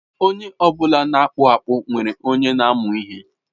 Onye ọ bụla na-akpụ akpụ nwere onye na-amụ ihe.